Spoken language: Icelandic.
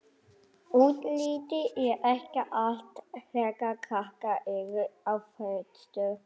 Útlitið er ekki allt þegar krakkar eru á föstu.